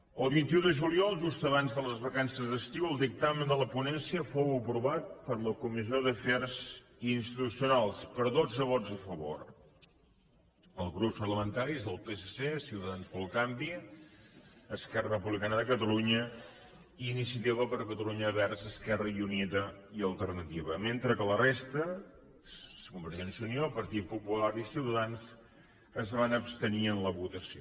el vint un de juliol just abans de les vacances d’estiu el dictamen de la ponència fou aprovat per la comissió d’afers institucionals per dotze vots a favor dels grups parlamentaris del psc ciutadans pel canvi esquerra republicana de catalunya i iniciativa per catalunya verds esquerra unida i alternativa mentre que la resta convergència i unió el partit popular i ciutadans es van abstenir en la votació